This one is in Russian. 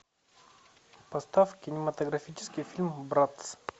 поставь кинематографический фильм братц